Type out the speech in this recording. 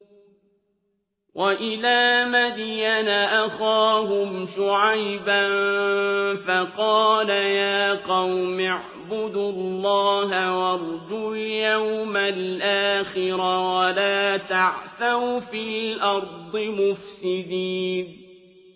وَإِلَىٰ مَدْيَنَ أَخَاهُمْ شُعَيْبًا فَقَالَ يَا قَوْمِ اعْبُدُوا اللَّهَ وَارْجُوا الْيَوْمَ الْآخِرَ وَلَا تَعْثَوْا فِي الْأَرْضِ مُفْسِدِينَ